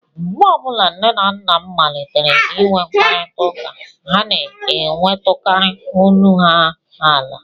Mgbe ọ bụla nne na nna m malitere inwe mkparịtaụka, ha na-ewetukarị olu ha ala